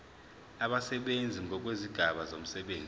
abasebenzi ngokwezigaba zomsebenzi